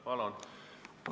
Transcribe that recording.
Palun!